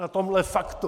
Na tomhle faktu?